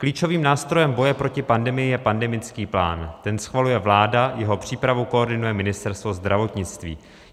Klíčovým nástrojem boje proti pandemii je pandemický plán, ten schvaluje vláda, jeho přípravu koordinuje Ministerstvo zdravotnictví.